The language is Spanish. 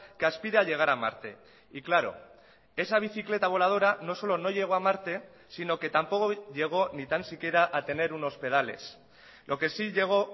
que aspira a llegar a marte y claro esa bicicleta voladora no solo no llegó a marte sino que tampoco llegó ni tan siquiera a tener unos pedales lo que sí llegó